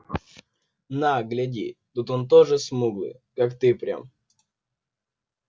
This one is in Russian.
на гляди тут он тоже смуглый как ты прям